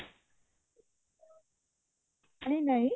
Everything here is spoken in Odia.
ଶାଢୀ ନାଇଁ